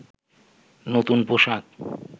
নতুন পোশাক